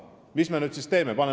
Mida nüüd siis teha?